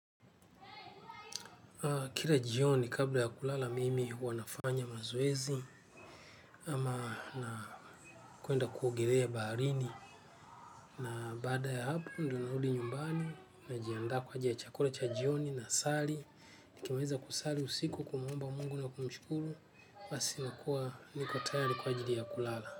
Kila jioni kabla ya kulala mimi huwa nafanya mazoezi ama na kwenda kuogelea baharini na baada ya hapo ndo narudi nyumbani najiandaa kwa chakula cha jioni na sali. Nikimiliza kusari usiku kumuomba mungu na kumshukuru nasi nakuwa niko tayari kwa ajili ya kulala.